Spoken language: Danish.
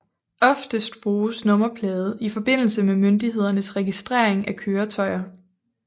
Oftest bruges nummerplade i forbindelse med myndighedernes registrering af køretøjer